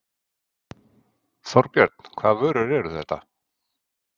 Þorbjörn: Hvaða vörur eru þetta?